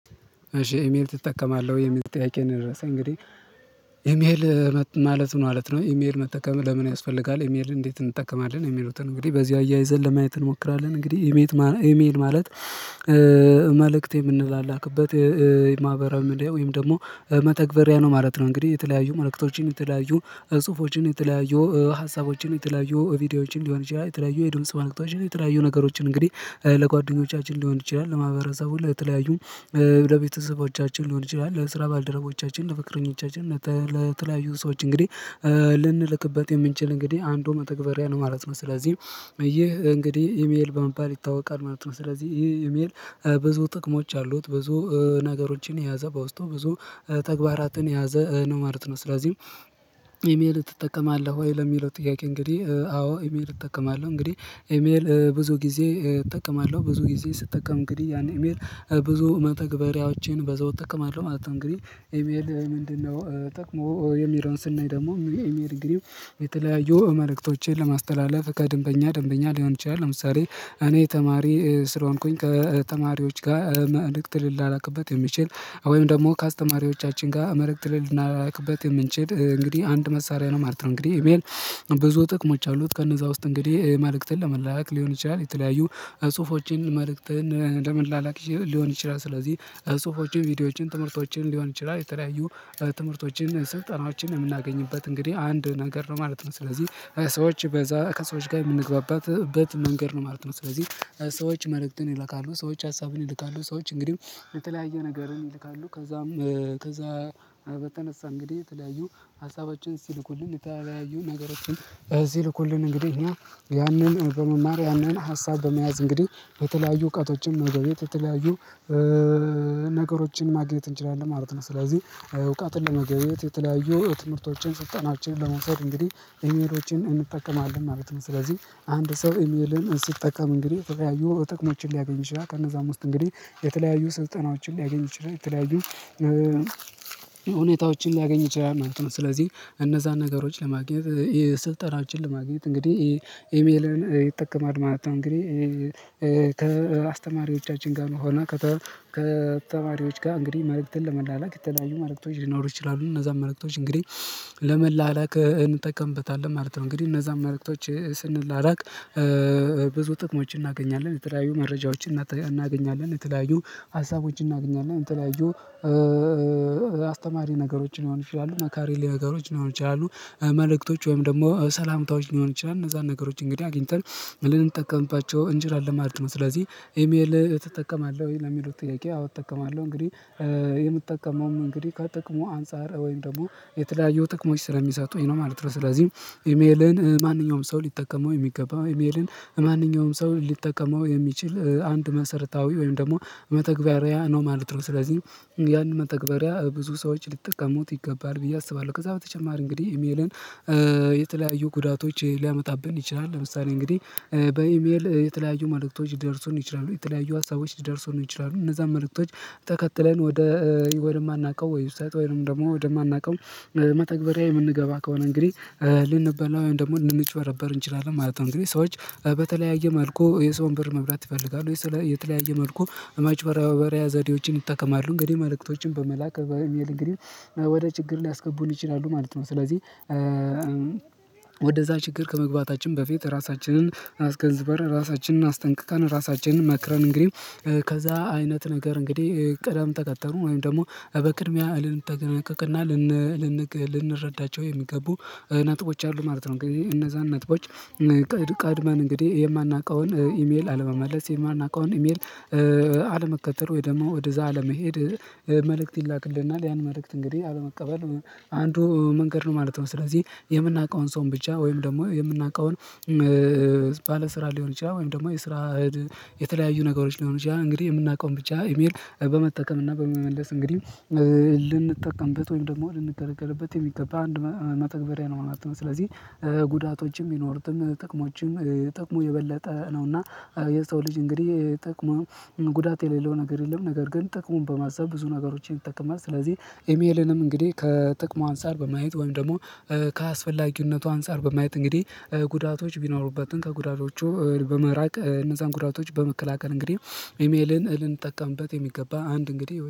እሺ ኢሜል ትጠቀማለህ ወይ? የሚጠይቀኝ ነው የደረሰኝ እንግዲህ ኢሜል ማለት ምን ማለት ነው ኢሜል መጠቀም ለምን ያስፈልጋል ኢሜል እንዴት እንጠቀማለን የሚሉትን እንግዲህ በዚህ አያይዘን ለማየት እንሞክራለን እንግዲህ ኢሜል ማለት መልእክት የምንላክበት የማህበራዊ ሚድያ ወይም ደግሞ መተግበሪያ ነው ማለት ነው እንግዲህ የተለያዩ መልእክቶችን የተለያዩ ጽሁፎችን የተለያየ ሀሳቦችን የተለያዩ ቪዲዮዎችን ሊሆን ይችላል የተለያየ የድምጽ ዋነክታችን የተለያዩ ነገሮችን እንግዲህ ለጓደኞቻችን ሊሆን ይችላል ለማህበረሰቡ ለተለያዩ ለቤተሰቦቻችን ሊሆን ይችላል ለስራ ባልደረቦቻችን ለፍቅረኛቻችን ለተለያዩ ሰዎች እንግዲህ ልንልክበት የምንችል እንግዲህ አንዱ መተግበሪያ ነው ማለት ነው ስለዚህም አየህ እንግዲህ ኢሜል በመባል ይታወቃል ማለት ነው ስለዚህ ይህ ኢሜል ብዙ ጥቅሞች አሉት ብዙ ነገሮችን የያዘ በውስጡ ብዙ ተግባራትን የያዘ ነው ማለት ነው ስለዚህም ኢሜል ትጠቀማለህ ወይ ለሚለው ጥያቄ እንግዲህ አዎ ኢሜል እጠቀማለሁ እንግዲህ ኢሜል ብዙ ጊዜ እጠቀማለሁ ብዙ ጊዜ ስጠቀም እንግዲህ ያን ኢሜል ብዙ መተግበሪያዎቼን በዘው እጠቀማለሁ ማለት ነው እንግዲህ ኤሜል ምንድነው ጥቅሙ የሚለውን ስናይ ደግሞ ኢሜል እንግዲህ የተለያዩ መልእክቶቼን ለማስተላለፍ ከደንበኛ ደንበኛ ሊሆን ይችላል ለምሳሌ እኔ ተማሪ ስለሆንኩኝ ከተማሪዎች ጋር መርክት ልል ላላክበት የሚችል ወይም ደግሞ ከአስተማሪዎቻችን ጋር መረጃ ትልልና ላክበት የምንችል እንግዲህ አንድ መሳሪያ ነው ማለት ነው እንግዲህ ብዙ ጥቅሞች አሉት ከነዛ ውስጥ እንግዲህ መልእክትን ለመላላክ ሊሆን ይችላል የተለያዩ ጽሁፎችን መልእክትን ለመላላክ ሊሆን ይችላል ስለዚህ ጽሁፎችን ቪዲዮዎችን ትምህርቶችን ሊሆን ይችላል የተለያዩ ትምህርቶችን ስልጠናዎችን የምናገኝበት እንግዲህ አንድ ነገር ነው ማለት ነው ስለዚህ ሰዎች በዛ ከሰዎች ጋር የምንግባባት በት መንገድ ነው ማለት ነው ስለዚህ ሰዎች መልእክትን ይልካሉ ሰዎች ሀሳብን ይልካሉ ሰዎች እንግዲህ የተለያየ ነገርም ይልካሉ ከዛም ከዛ በተነሳ እንግዲህ የተለያዩ ሀሳባችን ሲልኩልን የተለያዩ ነገሮችን ሲልኩልን እንግዲህ እኛ ያንን በመማር ያንን ሀሳብ በመያዝ እንግዲህ በተለያዩ እውቀቶችን መገበየት የተለያዩ ነገሮችን ማግኘት እንችላለን ማለት ነው ስለዚህ እውቀትን ለመገበየት የተለያዩ ትምህርቶችን ስልጠናችንን ለመምሰር እንግዲህ ኢሜሎችን እንጠቀማለን ማለት ነው ስለዚህ አንድ ሰው ኢሜልን ስጠቀም እንግዲህ የተለያዩ ጥቅሞችን ሊያገኝ ይችላል ከነዛም ውስጥ እንግዲህ የተለያዩ ስልጠናዎችን ሊያገኝ ይችላል የተለያዩ ሁኔታዎችን ሊያገኝ ይችላል ማለት ነው ስለዚህ እነዛን ነገሮች ለማግኘት የስልጠናችን ለማግኘት እንግዲህ ኢሜልን ይጠቀማል ማለት ነው እንግዲህ ከአስተማሪዎቻችን ጋር መሆኑ ከተማሪዎች ጋር እንግዲህ መልእክትን ለመላላክ የተለያዩ መልእክቶች ሊኖሩ ይችላሉ እነዛን መልክቶች እንግዲህ ለመላላክ እንጠቀምበታለን ማለት ነው እንግዲህ እነዛን መልክቶች ስንላላክ ብዙ ጥቅሞችን እናገኛለን የተለያዩ መረጃዎችን እናገኛለን የተለያዩ ሀሳቦችን እናገኛለን የተለያዩ አስተማሪ ነገሮችን ሊሆን ይችላሉ እና መካሪ ነገሮች ሊሆኑ ይችላሉ መልእክቶች ወይም ደግሞ ሰላምታዎች ሊሆን ይችላል እነዛን ነገሮች እንግዲህ አግኝተን ምንም እንጠቀምባቸው እንጂ አለ ማለት ነው ስለዚህ ኢሜል ትጠቀማለህ ወይ ለሚሉት ጥያቄ አዎ እጠቀማለሁ እንግዲህ የምትጠቀመውም እንግዲህ ከጥቅሙ አንፃር ወይም ደግሞ የተለያየው ጥቅሞች ስለሚሰጡኝ የሚሰጡኝ ነው ማለት ነው ስለዚህ ኢሜልን ማንኛውም ሰው ሊጠቀመው የሚገባው ኢሜልን ማንኛውም ሰው ሊጠቀመው የሚችል አንድ መሰረታዊ ወይም ደግሞ መተግበሪያ ነው ማለት ነው ስለዚህ ያን መተግበሪያ ብዙ ሰዎች ሊጠቀሙት ይገባል ብዬ አስባለሁ ከዛ በተጨማሪ እንግዲህ ኢሜልን የተለያዩ ጉዳቶች ሊያመጣብን ይችላል ለምሳሌ እንግዲህ በኢሜል የተለያዩ መልእክቶች ሊደርሱን ይችላሉ የተለያዩ ሀሳቦች ሊደርሱን ይችላሉ እነዛን መልእክቶች ተከትለን ወደ ወደ ማናቀው የማናውቀው ወብሳይት ውይም ደግሞ ወደማናውቀው መተግበሪያ የምንገባ ከሆነ እንግዲህ ልንበላው ወይንም ደግሞ ልንጭበረበር እንችላለን ማለት ነው እንግዲህ ሰዎች በተለያየ መልኩ የሰውን ብር መብላት ይፈልጋሉ ወይ ስለ የተለያየ መልኩ አማጭበርበራያ ዘዴዎችን ይጠቀማሉ እንግዲህ መልእክቶችን በመላክ በኢሚል እንግዲህ ወደ ችግር ሊያስገቡን ይችላሉ ማለት ነው ስለዚህ ወደዛ ችግር ከመግባታችን በፊት ራሳችንን አስ ገንዘበን ራሳችንን አስጠንቅቃል ራሳችንን መክረን እንግዲህ ከዛ አይነት ነገር እንግዲህ ቀደም ተቀተሉ ወይም ደግሞ በቅድሚያ እልን ጠነቀቅና ልንረዳቸው የሚገቡ ነጥቦች አሉ ማለት ነው እንግዲህ እነዛን ነጥቦች ቀድመን እንግዲህ የማናውቀውን ኢሜል አለመመለስ የማናውቀውን ኢሜል አለመከተል ወይ ደግሞ ወደዛ አለመሄድ መልእክት ይላክልናል ያን መልእክት እንግዲህ አለመቀበል አንዱ መንገድ ነው ማለት ነው ስለዚህ የምናውቀውን ሰው ብቻ ወይም ደግሞ የምናውቀውን ባለስራ ሊሆን ይችላል ወይም ደግሞ የስራ የተለያዩ ነገሮች ሊሆን ይችላል እንግዲህ የምናውቀውን ብቻ ኢሜል በመጠቀም እና በመመለስ እንግዲህ ልንጠቀምበት ወይም ደግሞ የምንገርገርበት የሚገባ አንድ መተግበሪያ ነው አላትም ስለዚህ ጉዳቶችም ይኖሩትም ጥቅሞችም ጥቅሙ የበለጠ ነውና የሰው ልጅ እንግዲህ ጥቅሙን ጉዳት የሌለው ነገር የለም ነገር ግን ጥቅሙን በማሰብ ብዙ ነገሮችን ይጠቅማል ስለዚህ ኢሜልንም እንግዲህ ከጥቅሙ አንሳር በማየት ወይም ደግሞ ከአስፈላጊነቱ አንፃር በማየት እንግዲህ ጉዳቶች ቢኖሩበትን ከጉዳቶቹ በመራቅ እነዛን ጉዳቶች በመከላከል እንግዲህ ኢሜልን ልንጠቀምበት የሚገባ አንድ እንግዲህ